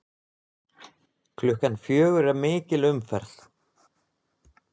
Klukkan fjögur er mikil umferð.